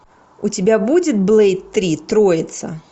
у тебя будет блэйд три троица